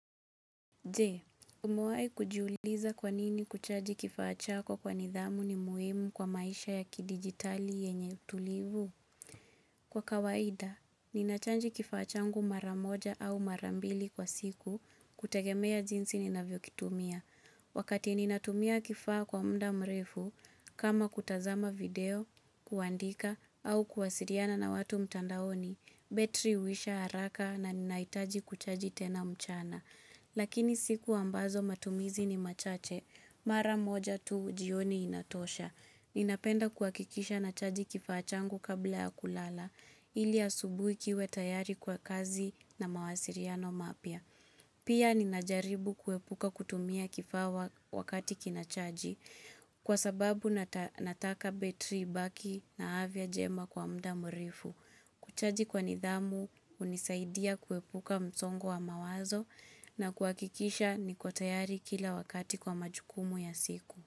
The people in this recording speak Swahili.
Je, umewahi kujiuliza kwa nini kuchaji kifaa chako kwa nidhamu ni muhimu kwa maisha ya kidigitali yenye utulivu? Kwa kawaida, nina chaji kifaa changu mara moja au mara mbili kwa siku kutegemea zinsi ninavyokitumia. Wakati ninatumia kifaa kwa muda mrefu, kama kutazama video, kuandika au kuwasiliana na watu mtandaoni, betri huisha haraka na ninahitaji kuchaji tena mchana. Lakini siku ambazo matumizi ni machache, mara moja tu jioni inatosha. Ninapenda kuhakikisha nachaji kifaa changu kabla ya kulala, ili asubuhi kiwe tayari kwa kazi na mawasiliano mapya. Pia ninajaribu kuepuka kutumia kifaa wakati kinachaji, kwa sababu nataka betri ibaki na afya njema kwa muda mrefu. Kuchaji kwa nidhamu hunisaidia kuepuka msongo wa mawazo na kuhakikisha niko tayari kila wakati kwa majukumu ya siku.